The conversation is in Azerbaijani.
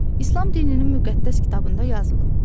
İslam dininin müqəddəs kitabında yazılıb.